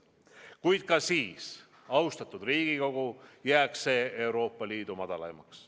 Kuid ka siis, austatud Riigikogu, jääks see Euroopa Liidu madalaimaks.